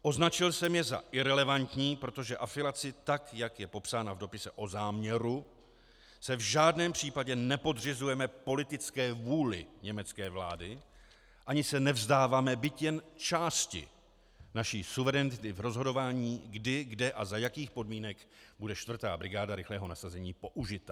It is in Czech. Označil jsem je za irelevantní, protože afilací, tak jak je popsána v dopise o záměru, se v žádném případě nepodřizujeme politické vůli německé vlády ani se nevzdáváme byť jen části naší suverenity v rozhodování kdy, kde a za jakých podmínek bude 4. brigáda rychlého nasazení použita.